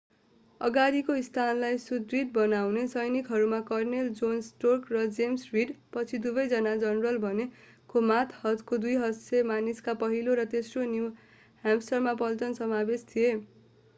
अगाडिको स्थानलाई सुदृढ बनाउने सैनिकहरूमा कर्नेल जोन स्टार्क र जेम्स रिड पछि दुवै जना जनरल बने को मातहतका 200 मानिसका पहिलो र तेस्रो न्यु ह्याम्पसायर पल्टन समावेश थिए।